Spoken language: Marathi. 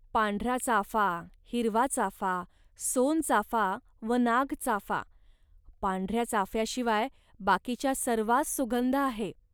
पांढरा चाफा, हिरवा चाफा, सोनचाफा व नागचाफा. पांढऱ्या चाफ्याशिवाय बाकीच्या सर्वांस सुगंध आहे